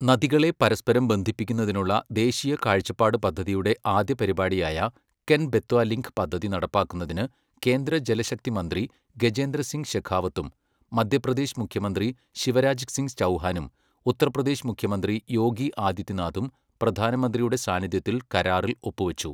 നദികളെ പരസ്പരം ബന്ധിപ്പിക്കുന്നതിനുള്ള ദേശീയ കാഴ്ചപ്പാട് പദ്ധതിയുടെ ആദ്യ പരിപാടിയായ കെൻ ബെത്വ ലിങ്ക് പദ്ധതി നടപ്പാക്കുന്നതിന് കേന്ദ്ര ജലശക്തി മന്ത്രി ഗജേന്ദ്ര സിങ് ശെഖാവത്തും മധ്യപ്രദേശ് മുഖ്യമന്ത്രി ശിവരാജ് സിങ് ചൗഹാനും, ഉത്തർ പ്രദേശ് മുഖ്യമന്ത്രി യോഗി ആദിത്യനാഥും പ്രധാനമന്ത്രിയുടെ സാന്നിധ്യത്തിൽ കരാറിൽ ഒപ്പുവച്ചു.